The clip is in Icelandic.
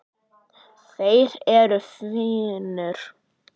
Þeir eru fínir.